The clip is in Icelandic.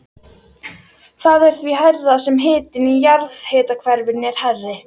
Það er því hærra sem hitinn í jarðhitakerfinu er hærri.